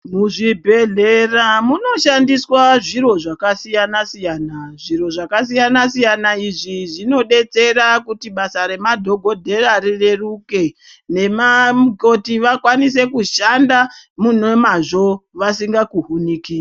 Muzvibhedhlera munoshandiswa zviro zvakasiyana siyana zviro zvakasiyana siyana izvi zvinodetsera kuti basa remadhokodheya rireruke nemamukoti vakwanise kushanda munemazvo vasinga pukunyuki.